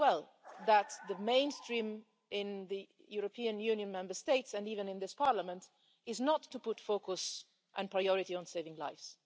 know very well that the mainstream in the European Union Member States and even in this Parliament is not to put focus and priority on saving lives.